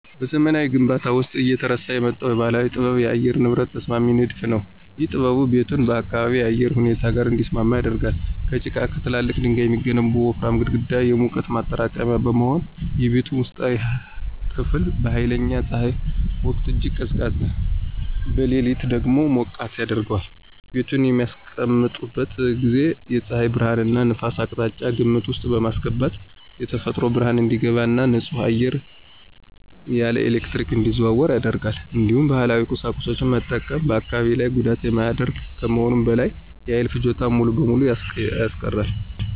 በዘመናዊ ግንባታዎች ውስጥ እየተረሳ የመጣው ባህላዊ ጥበብ የአየር ንብረት ተስማሚ ንድፍ ነው። ይህ ጥበብ ቤቱን ከአካባቢው የአየር ሁኔታ ጋር እንዲስማማ ያደርጋል። ከጭቃና ከትላልቅ ድንጋዮች የሚገነቡት ወፍራም ግድግዳዎች የሙቀት ማጠራቀሚያነት በመሆን፣ የቤቱን ውስጣዊ ክፍል በኃይለኛ ፀሐይ ወቅት እጅግ ቀዝቃዛ፣ በሌሊት ደግሞ ሞቃታማ ያደርገዋል። ቤቱን በሚያስቀምጡበት ጊዜ የፀሐይ ብርሃንንና ነፋስን አቅጣጫ ግምት ውስጥ በማስገባት የተፈጥሮ ብርሃን እንዲገባ እና ንጹህ አየር ያለ ኤሌክትሪክ እንዲዘዋወር ያደርጋል። እንዲሁም ባህላዊ ቁሳቁሶችን መጠቀም በአካባቢ ላይ ጉዳት የማያደርግ ከመሆኑም በላይ የኃይል ፍጆታን ሙሉ በሙሉ ያስቀራል።